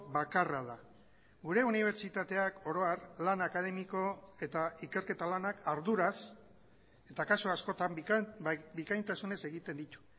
bakarra da gure unibertsitateak oro har lan akademiko eta ikerketa lanak arduraz eta kasu askotan bikaintasunez egiten ditu